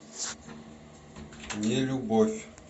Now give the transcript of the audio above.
нелюбовь